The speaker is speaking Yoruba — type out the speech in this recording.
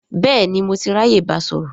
Bẹ́ẹ̀ni, mo ti ráyè báa sọ̀rọ̀